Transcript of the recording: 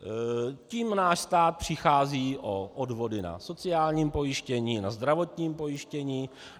Tím náš stát přichází o odvody na sociálním pojištění, na zdravotním pojištění.